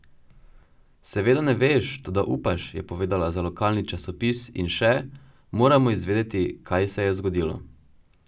Seveda ne veš, toda upaš,' je povedala za lokalni časnik in še: 'Moramo izvedeti, kaj se je zgodilo.